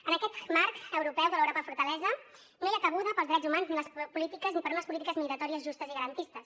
en aquest marc europeu de l’europa fortalesa no hi ha cabuda per als drets humans ni per a unes polítiques migratòries justes i garantistes